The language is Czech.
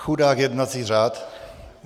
Chudák jednací řád!